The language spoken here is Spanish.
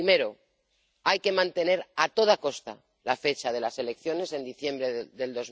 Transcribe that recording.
Primero hay que mantener, a toda costa, la fecha de las elecciones en diciembre de